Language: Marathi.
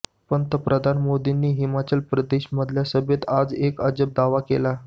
पंतप्रधान मोदींनी हिमाचल प्रदेशमधल्या सभेत आज एक अजब दावा केला